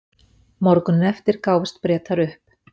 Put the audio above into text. Morguninn eftir gáfust Bretar upp.